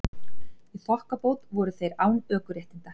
Í þokkabót voru þeir án ökuréttinda